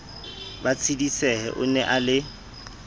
ba tshedisehe o na le